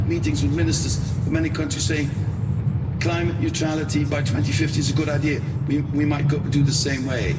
I had meetings with ministers from many countries saying climate neutrality by 2050 is a good idea, we might do things the same way.